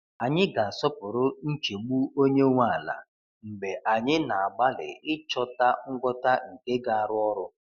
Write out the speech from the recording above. Anyị ga-asọpụrụ nchegbu onye nwe ala mgbe anyị na-agbalị ịchọta ngwọta nke ga-arụ ọrụ.